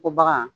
Ko bagan